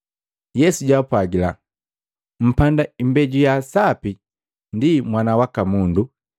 Yesu jaapwagila, “Mpanda imbeju ya sapi, ndi Mwana waka Mundu.